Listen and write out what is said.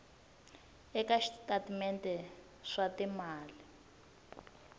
eka switatimende swa timali swa